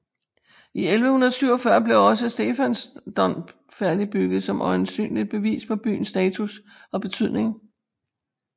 I 1147 blev også Stephansdom færdigbygget som øjensynligt bevis på byens status og betydning